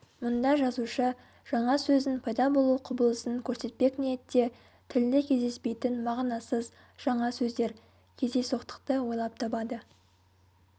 мұнда жазушы жаңа сөздің пайда болу құбылысын көрсетпек ниетте тілде кездеспейтін мағынасыз жаңа сөздер-кездейсоқтықты ойлап табады